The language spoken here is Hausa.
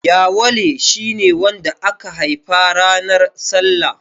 Yawale shi ne wanda aka haifa ranar salla.